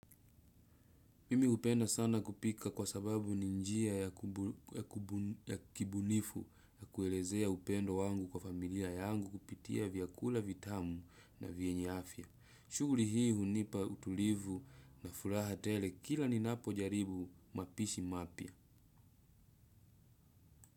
Mimi hupenda sana kupika kwa sababu ni njia ya kibunifu ya kuelezea upendo wangu kwa familia yangu kupitia vyakula vitamu na vyenye afya. Shughuli hii hunipa utulivu na furaha tele kila ninapo jaribu mapishi mapya.